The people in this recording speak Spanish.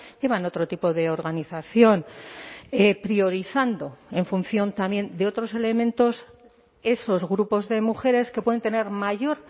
llevan otro tipo de organización priorizando en función también de otros elementos esos grupos de mujeres que pueden tener mayor